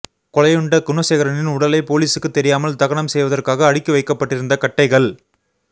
கொலையுண்ட குணசேகரனின் உடலை போலீசுக்கு தெரியாமல் தகனம் செய்வதற்காக அடுக்கி வைக்கப்பட்டிருந்த கட்டைகள்